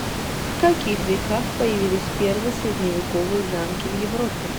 в каких веках появились первые средневековые замки в европе